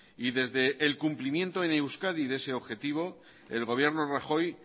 y desde el cumplimiento en euskadi de ese objetivo el gobierno rajoy